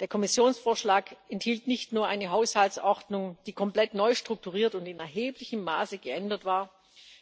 Der Kommissionsvorschlag enthielt nicht nur eine Haushaltsordnung, die komplett neu strukturiert und in erheblichem Maße geändert war,